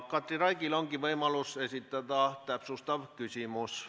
Katri Raigil ongi võimalus esitada täpsustav küsimus.